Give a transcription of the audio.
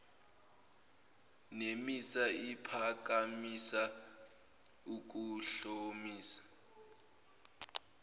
nemisa iphakamisa ukuhlomisa